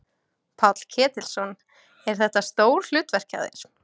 Páll Ketilsson: Er þetta stór hlutverk hjá þér?